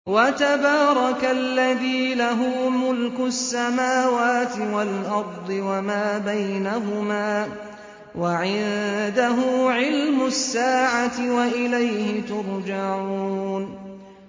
وَتَبَارَكَ الَّذِي لَهُ مُلْكُ السَّمَاوَاتِ وَالْأَرْضِ وَمَا بَيْنَهُمَا وَعِندَهُ عِلْمُ السَّاعَةِ وَإِلَيْهِ تُرْجَعُونَ